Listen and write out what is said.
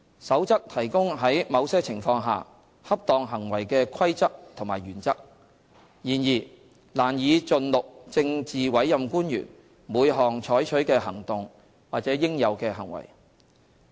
《守則》提供在某些情況下恰當行為的規則和原則，然而，難以盡錄政治委任官員每項採取的行動或應有的行為。